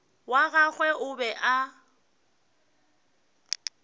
wa gagwe o be a